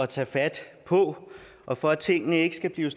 tage fat på og for at tingene ikke skal blive